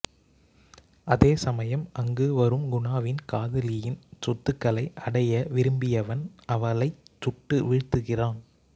அதே சமயம் அங்கு வரும் குணாவின் காதலியின் சொத்துக்களை அடைய விரும்பியவன் அவளைச் சுட்டு வீழ்த்துகின்றான்